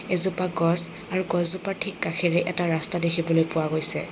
এজোপা গছ আৰু গছজোপাৰ ঠিক কাষেৰে এটা ৰাস্তা দেখিবলৈ পোৱা গৈছে।